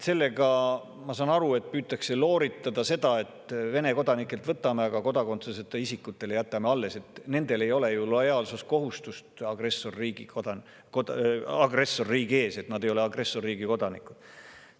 Sellega, ma saan aru, püütakse looritada seda, et Vene kodanikelt võtame ära, aga kodakondsuseta isikutele jätame alles, sest nendel ei ole ju lojaalsuskohustust agressorriigi ees, nad ei ole agressorriigi kodanikud.